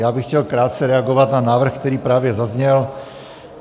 Já bych chtěl krátce reagovat na návrh, který právě zazněl.